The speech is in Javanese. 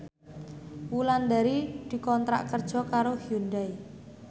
Wulandari dikontrak kerja karo Hyundai